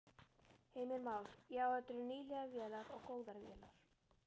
Heimir Már: Já, þetta eru nýlegar vélar og góðar vélar?